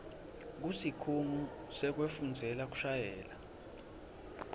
kusikhungo sekufundzela kushayela